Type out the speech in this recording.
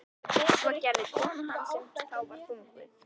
Svo gerði og kona hans sem þá var þunguð.